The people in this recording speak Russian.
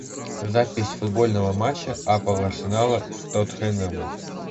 запись футбольного матча апл арсенала с тоттенхэмом